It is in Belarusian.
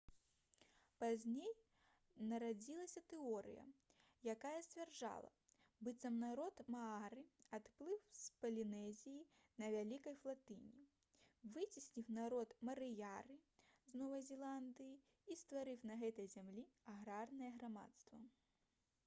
пазней нарадзілася тэорыя якая сцвярджала быццам народ маары адплыў з палінезіі на вялікай флатыліі выцесніў народ марыёры з новай зеландыі і стварыў на гэтай зямлі аграрнае грамадства